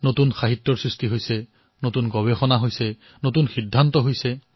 নতুন সাহিত্য ৰচনা কৰা হৈছে নতুন অনুসন্ধান হৈছে নতুন সিদ্ধান্ত গ্ৰহণ কৰা হৈছে